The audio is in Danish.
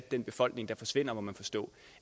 den befolkning der forsvinder må man forstå